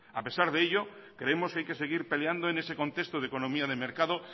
a pesar de ello creemos que hay que seguir peleando en ese contexto de economía de mercado